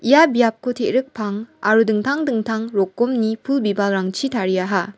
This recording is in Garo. ia biapko te·rik pang aro dingtang dingtang rokomni pul bibalrangchi tariaha.